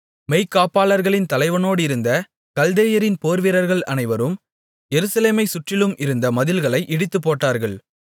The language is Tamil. மெய்க்காப்பாளர்களின் தலைவனோடிருந்த கல்தேயரின் போர்வீரர்கள் அனைவரும் எருசலேமைச் சுற்றிலும் இருந்த மதில்களை இடித்துப்போட்டார்கள்